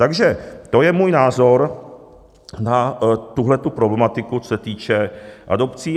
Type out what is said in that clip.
Takže to je můj názor na tuhle problematiku, co se týče adopcí.